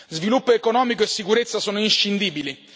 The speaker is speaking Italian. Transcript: Sviluppo economico e sicurezza sono inscindibili.